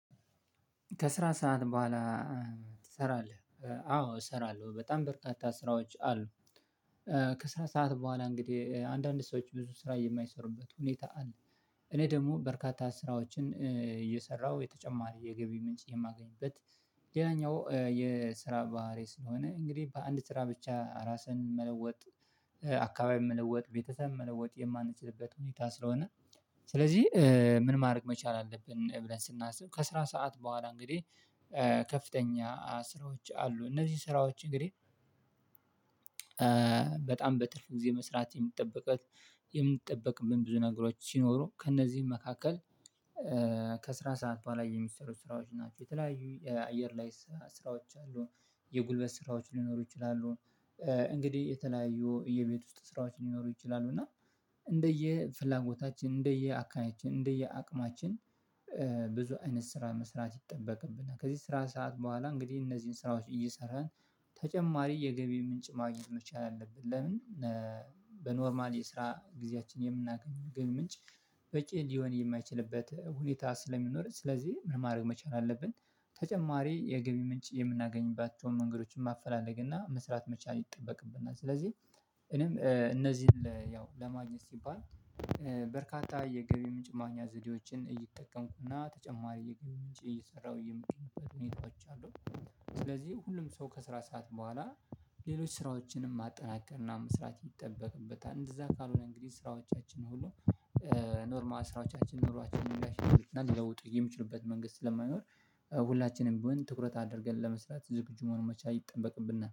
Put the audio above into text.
ከስራ ሰዓት በኋላ ትሰራለህ? አዎ እሰራለሁ በጣም በርካታ ስራዎች አሉ ከስራ ሰዓት በኋላ እንግዲህ አንዳንድ ሰዎች ብዙ ስራ የማይሰሩበት ሁኔታ አለ እኔ ደግሞ በርካታ ስራዎችን እየሰራሁ የተጨማሪ የገቢ ምንጭ የማገኝበት ሌላኛው የስራ ባህሪ ስለሆነ እንግዲህ በአንድ ስራ ብቻ ራስን መለወጥ አካባቢን መለወጥ ቤተሰብ መለወጥ የማንችልበት ሁኔታ ስለሆነ ስለዚህ ምን ማድረግ መቻል አለብን ብለን ስናስብ ከስራ ሰዓት በኋላ እንግዲህ ከፍተኛ ስራዎች አሉ እነዚህ ስራዎች እንግዲህ በጣም በትርፍ ጊዜ መስራት የሚጠበቅብን ብዙ ነገሮች ሲኖሩ ከእነዚህም መካከል ከስራ ሰዓት በኋላ የሚሰሩ ስራዎች ናቸው የተለያዩ የአየር ላይ ስራዎች አሉ የጉልበት ስራዎች ሊኖሩ ይችላሉ እንግዲህ የተለያዩ የቤት ውስጥ ስራዎች ሊኖሩ ይችላሉ እና እንደየ ፍላጎታችን እንደየ አካባቢያችን እንደየ አቅማችን ብዙ አይነት ስራ መስራት ይጠበቅብናል ከዚህ ስራ ሰዓት በኋላ እንግዲህ እነዚህን ስራዎች እየሰራን ተጨማሪ የገቢ ምንጭ ማግኘት መቻል አለብን ለምን በኖርማል የስራ ጊዜያችን የምናገኘው የገቢ ምንጭ በቂ ሊሆን የማይችልበት ሁኔታ ስለሚኖርህ ስለዚህ ምን ማድረግ መቻል አለብን ተጨማሪ የገቢ ምንጭ የምናገኝባቸውን መንገዶችን ማፈላለግ እና መስራት መቻል ይጠበቅብናል ስለዚህ እኔም እነዚህን ያው ለማግኘት ሲባል በርካታ የገቢ ምንጭ ማግኛ ዘዴዎችን እየተጠቀምኩና ተጨማሪ የገቢ ምንጭ እየሰራሁ የምገኝበት ሁኔታዎች አሉ ስለዚህ ሁሉም ሰው ከስራ ሰዓት በኋላ ሌሎች ስራዎችንም ማጠናከርና መስራት ይጠበቅበታል እንደዛ ካልሆነ እንግዲህ ስራዎቻችን ሁሉ ኖርማል ስራዎቻችን ኑሯችንን ሊያሻሽሉና ሊለውጡ የሚችሉበት መንገድ ስለማይኖር ሁላችንም ቢሆን ትኩረት አድርገን ለመስራት ዝግጁ መሆን መቻል ይጠንበቅብናል።